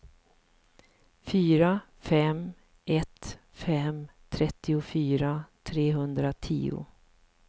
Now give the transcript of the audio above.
fyra fem ett fem trettiofyra trehundratio